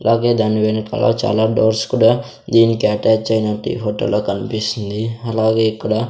అలాగే దాని వెనకాల చాలా డోర్స్ కూడా దీనికి అటాచ్ ఐనట్టు ఈ ఫొటో లో కన్పిస్తుంది అలాగే ఇక్కడ--